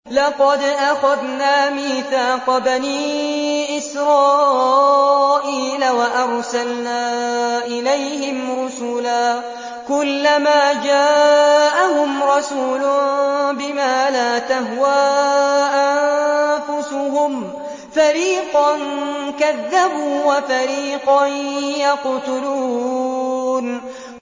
لَقَدْ أَخَذْنَا مِيثَاقَ بَنِي إِسْرَائِيلَ وَأَرْسَلْنَا إِلَيْهِمْ رُسُلًا ۖ كُلَّمَا جَاءَهُمْ رَسُولٌ بِمَا لَا تَهْوَىٰ أَنفُسُهُمْ فَرِيقًا كَذَّبُوا وَفَرِيقًا يَقْتُلُونَ